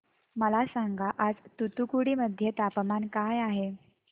मला सांगा आज तूतुकुडी मध्ये तापमान काय आहे